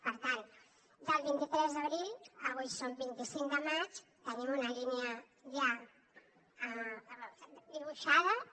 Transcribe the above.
per tant del vint tres d’abril avui som vint cinc de maig tenim una línia ja dibuixada i